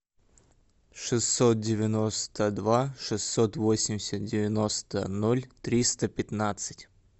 шестьсот девяносто два шестьсот восемьдесят девяносто ноль триста пятнадцать